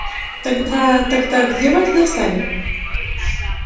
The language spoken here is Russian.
тогда тогда где вы это достали